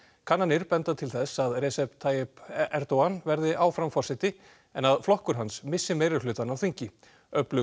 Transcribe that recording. kannanir benda til þess að Recep Tayip Erdogan verði áfram forseti en að flokkur hans missi meirihlutann á þingi öflug